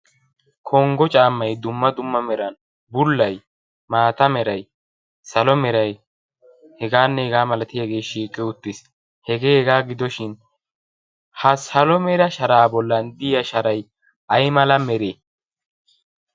Konggo caammay dumma dummameran bullay, maata meray, salo meray hegaanne hegaa milatiyagee shiiqi uttis. Hegee hegaa gidoshin ha salo Mera sharaa bollan diya sharay ayimala meree?